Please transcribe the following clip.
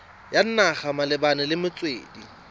ya naga malebana le metswedi